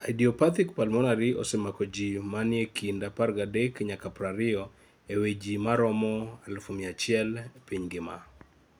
Idiopathic pulmonary osemako jii manie kind 13 nyaka 20 ee wii jimaromo 100,000 piny mangima